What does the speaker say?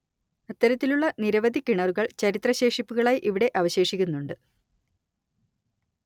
അത്തരത്തിലുള്ള നിരവധി കിണറുകൾ ചരിത്ര ശേഷിപ്പുകളായി ഇവിടെ അവശേഷിക്കുന്നുണ്ട്